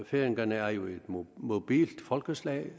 færingerne er jo et mobilt folkeslag